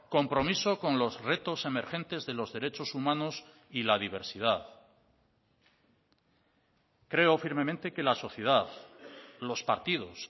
compromiso con los retos emergentes de los derechos humanos y la diversidad creo firmemente que la sociedad los partidos